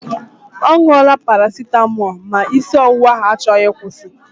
Ọ ṅụọla parasịtamọọl ma na isi ọwụwa ahụ achọghị ịkwụsi.